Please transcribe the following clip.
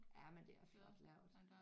Jamen det er flot lavet